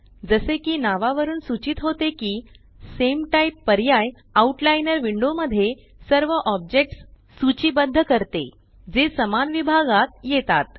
जसे की नावावरून सूचीत होते की सामे टाइप पर्याय आउटलाइनर विंडो मध्ये सर्व ऑब्जेक्ट्स सूचीबद्ध करते जे समान विभागात येतात